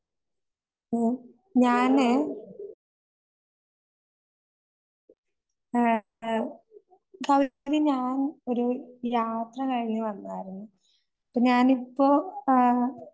ആഹ് ഞാന് ആഹ് ആഹ് ഞാൻ ഒരു യാത്ര കഴിഞ്ഞു വന്നായിരുന്നു. ഇപ്പം ഞാനിപ്പോ ആഹ്